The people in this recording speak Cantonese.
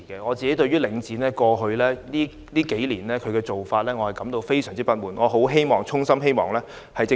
我對於領展過去數年的做法感到非常不滿，並衷心希望政府下定決心做些事。